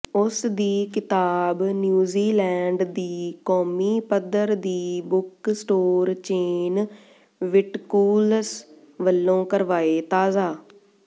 ਉਸਦੀ ਕਿਤਾਬ ਨਿਊਜ਼ੀਲੈਂਡ ਦੀ ਕੌਮੀ ਪੱਧਰ ਦੀ ਬੁੱਕ ਸਟੋਰ ਚੇਨ ਵਿੱਟਕੂਲਸ ਵੱਲੋਂ ਕਰਵਾਏ ਤਾਜ਼ਾ